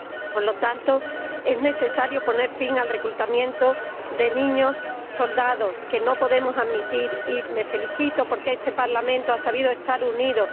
por lo tanto, es necesario poner fin al reclutamiento de niños soldado, que no podemos admitir, y me felicito porque este Parlamento ha sabido estar unido